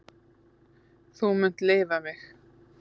Þú munt lifa mig.